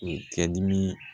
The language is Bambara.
U ka dimi